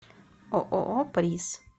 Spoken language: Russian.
ооо приз